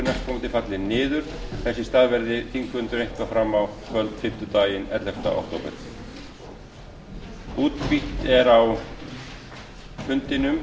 næstkomandi falli niður þess í stað verður þingfundur eitthvað fram á kvöld fimmtudaginn ellefta október